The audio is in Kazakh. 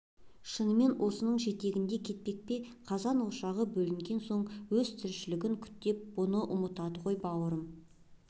шынымен осының жетегінде кетпек пе қазан-ошағы бөлектенген соң өз тіршілігін күйттеп бұны ұмытады ғой бауырым